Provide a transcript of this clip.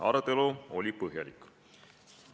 Arutelu oli põhjalik.